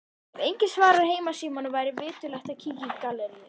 Ef enginn svarar heimasímanum væri viturlegt að kíkja í galleríið.